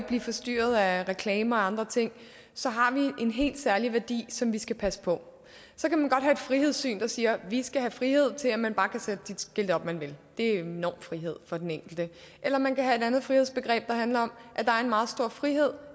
blive forstyrret af reklamer og andre ting så har vi en helt særlig værdi som vi skal passe på så kan man godt have et frihedssyn der siger vi skal have frihed til at man bare kan sætte de skilte op man vil det er en enorm frihed for den enkelte eller man kan have et andet frihedsbegreb der handler om at der er en meget stor frihed